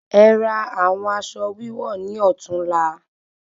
E ra awon aṣọ wíwọ̀ni ọtún la